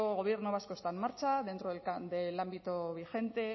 gobierno vasco está en marcha dentro del ámbito vigente